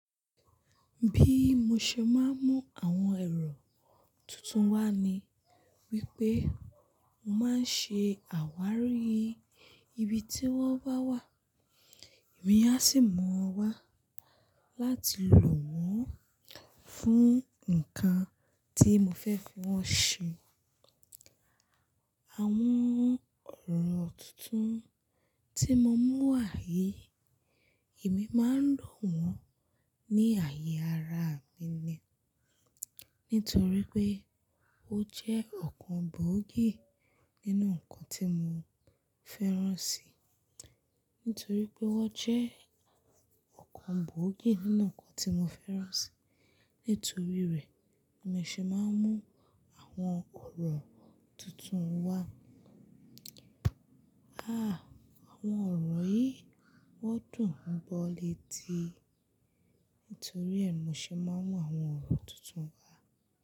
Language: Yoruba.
Bí mo ṣe máa ń mú àwọn ọ̀rọ̀ tuntun wá ni wípé mo máa ń ṣe àwárí ibi tí wón bà wá, èmi a sì mu wọn wá láti lò wọ́n fún nǹkan tí mo fẹ́ kí wọ́n ṣe. Àwọn ọ̀rọ̀ tuntun tí mo mú wá yìí, èmi máa ń lò wọ́n ní àyè ara mi ni. Nítorí pé ó jẹ́ ọ̀kan gbòógì nínú nǹkan tí mo fẹ́ràn si. Nítorí pé wọ́n jẹ́ ọ̀kan gbòógì nínú nǹkan tí mo fẹ́ràn si. Nítorí rẹ̀, mi ṣe máa ń mú àwọn ọ̀rọ̀ tuntun wá. Ah! Àwọn ọ̀rọ̀ yìí wọ́n dùn ún gbọ́ létí. Nítorí ẹ, mo ṣe máa ń mú àwọn ọ̀rọ̀ tuntun wá.